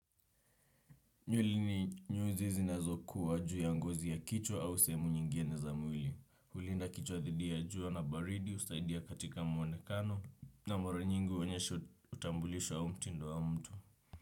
Nywele ni nyuzi zinazokuwa juu ya ngozi ya kichwa au sehemu nyingine za mwili. Hulinda kichwa dhidi ya jua na baridi, husaidia katika mwonekano. Na mara nyingi huonyesha utambulisho au mtindo wa mtu.